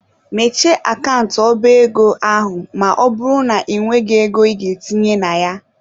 Mechie akant ọba ego ahụ ma ọ bụrụ na ị nweghị ego ị ga-etinye na ya!.